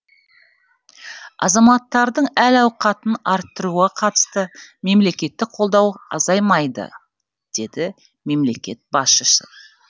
азаматтардың әл ауқатын арттыруға қатысты мемлекеттік қолдау азаймайды деді мемлекет басшысы